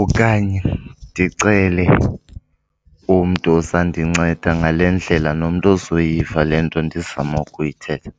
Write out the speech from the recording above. okanye ndicele umntu ozandinceda ngale ndlela nomntu ozoyiva le nto ndizama ukuyithetha.